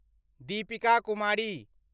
Deepika Kumari